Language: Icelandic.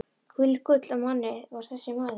Hvílíkt gull af manni var þessi maður!